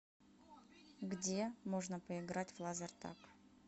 где можно поиграть в лазертаг